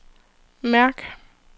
mærk